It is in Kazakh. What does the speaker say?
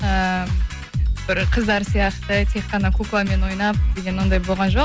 эээ бір қыздар сияқты тек қана кукламен ойнап деген ондай болған жоқ